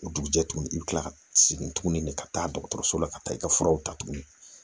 O dugujɛ tuguni i bi kila ka segin tuguni de ka taa dɔgɔtɔrɔso la ka taa i ka furaw ta tuguni